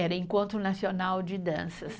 Era o Encontro Nacional de Danças.